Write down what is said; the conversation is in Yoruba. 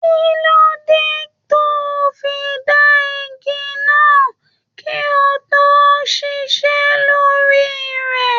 Kilode to o fí dàn ìgi náà kí o tó ṣiṣẹ lórí rẹ?